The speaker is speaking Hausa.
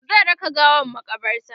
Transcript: zai raka gawan makabarta